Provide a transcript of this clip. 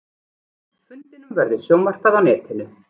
Fundinum verður sjónvarpað á netinu